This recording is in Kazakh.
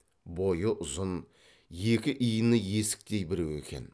бойы ұзын екі иіні есіктей біреу екен